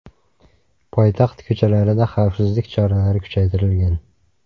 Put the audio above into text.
Poytaxt ko‘chalarida xavfsizlik choralari kuchaytirilgan.